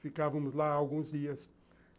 Ficávamos lá alguns dias.